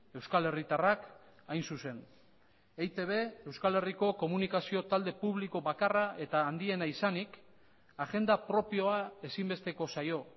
euskal herritarrak hain zuzen eitb euskal herriko komunikazio talde publiko bakarra eta handiena izanik agenda propioa ezinbesteko zaio